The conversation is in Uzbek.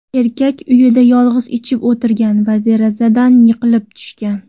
Erkak uyida yolg‘iz ichib o‘tirgan va derazadan yiqilib tushgan.